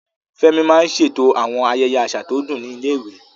Fẹ́mi máa ń ṣètò àwọn ayẹyẹ àṣà tó dùn ní ilé-ìwé.